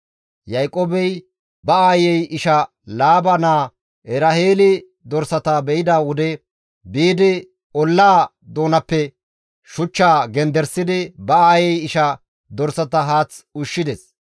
Yaaqoobey ba aayey isha Laaba naa Eraheeli dorsata be7ida wode biidi ollaa doonappe shuchchaa genderisidi ba aayey ishaa dorsata haath ushshides.